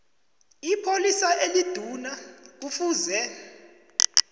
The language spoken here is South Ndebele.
ipholisa eliduna kufuze